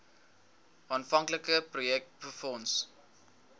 aanvanklike projek befonds